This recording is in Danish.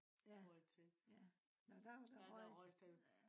ja ja nå der var der røget